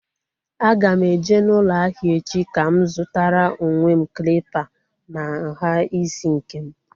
A ga m eje n'ụlọ ahịa echi ka m zutara onwe m klịpa na nhá isi nkem